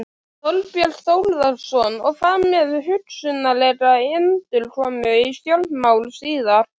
Þorbjörn Þórðarson: Og hvað með hugsanlega endurkomu í stjórnmál síðar?